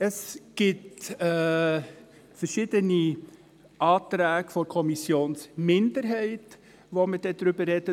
Es gibt verschiedene Anträge der Kommissionsminderheit, über die wir sprechen werden.